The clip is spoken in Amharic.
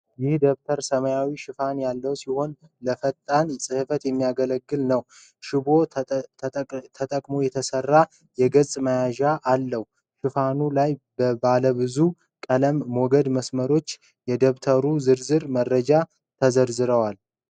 ይህ ደብተር ሰማያዊ ሽፋን ያለው ሲሆን፣ ለፈጣን ጽሕፈት የሚያገለግል ነው። ሽቦ ተጠቅሞ የተሰራ የገጽ ማያያዣ አለው። ሽፋኑ ላይ ባለብዙ ቀለም ሞገድ መስመሮችና የደብተሩ ዝርዝር መረጃዎች ተዘርዝረዋል።